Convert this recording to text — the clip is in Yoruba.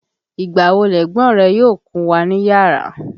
Ìgbà wo lẹ̀gbọ́n rẹ yóò kúnwà níyàrá?